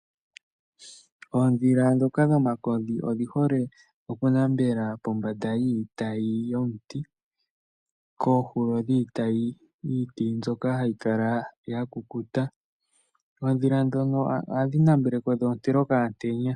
Oondhila ndhoka dhomakodhi odhi hole okunambela pombanda yiitayi yomuti. Koohulo dhiitayi iiti mbyoka hayi kala ya kukuta. Oondhila ndhono ohadhi namele ko dho ontele okaantenya.